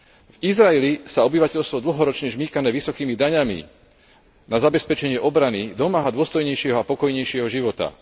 V Izraeli sa obyvateľstvo dlhoročne žmýkané vysokými daňami na zabezpečenie obrany domáha dôstojnejšieho a pokojnejšieho života.